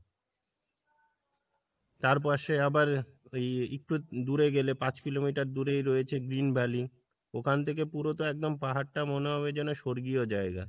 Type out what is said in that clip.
তার পশে আবার ওই একটু দূরে গেলে পাঁচ কিলোমিটার দূরেই রয়েছে green valley ওখান থেকে পুরোটা একদম পাহাড়টা মনে হবে যেন স্বর্গীয় জায়গা।